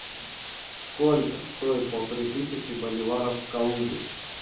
сколько стоит полторы тысячи боливаров в калуге